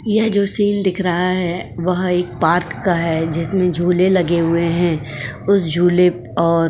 यह जो सीन दिख रहा है वह एक पार्क का है। जिसमें झूले लगे हुए हैं उस झूले और --